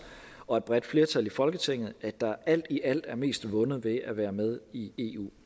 og et bredt flertal i folketinget at der alt i alt er mest vundet ved at være med i